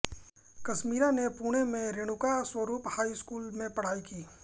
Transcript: कश्मीरा ने पुणे में Renuka Swarup high school में पढ़ाई की